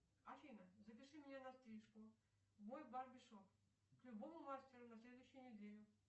афина запиши меня на стрижку в мой барбершоп к любому мастеру на следующей неделе